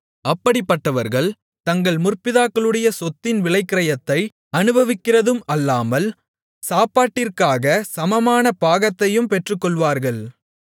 அப்படிப்பட்டவர்கள் தங்கள் முற்பிதாக்களுடைய சொத்தின் விலைக்கிரயத்தை அநுபவிக்கிறதும் அல்லாமல் சாப்பாட்டிற்காக சமமான பாகத்தையும் பெற்றுக்கொள்வார்கள்